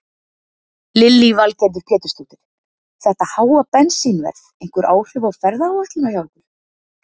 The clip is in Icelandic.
Lillý Valgerður Pétursdóttir: Þetta háa bensínverð einhver áhrif á ferðaáætlunina hjá ykkur?